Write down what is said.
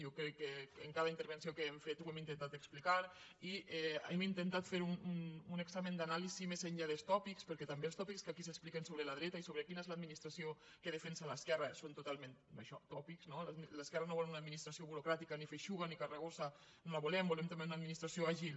jo crec que en cada intervenció que hem fet ho hem intentat explicar i hem intentat fer un examen d’anàlisi més enllà dels tòpics perquè també els tòpics que aquí s’expliquen sobre la dreta i sobre quina és l’administració que defensa l’esquerra són totalment això tòpics no l’esquerra no vol una administració burocràtica ni feixuga ni carregosa no la volem vo·lem també una administració àgil